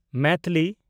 Maithili